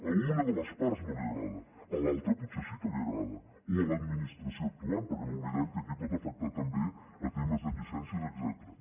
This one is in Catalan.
a una de les parts no li agrada a l’altra potser sí que li agrada o a l’administració actuant perquè no oblidem que aquí pot afectar també temes de llicències etcètera